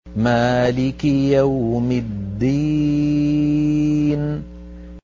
مَالِكِ يَوْمِ الدِّينِ